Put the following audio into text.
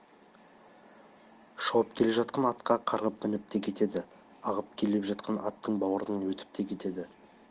шауып келе жатқан атқа қарғып мініп те кетеді ағып келе жатқан аттың бауырынан өтіп те кетеді